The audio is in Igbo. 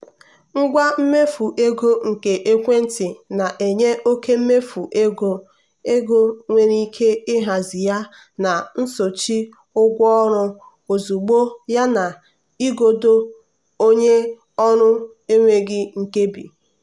ngwa mmefu ego nke ekwentị na-enye oke mmefu ego ego nwere ike ịhazi ya na nsochi ụgwọ ọrụ ozugbo yana igodo onye ọrụ enweghị nkebi.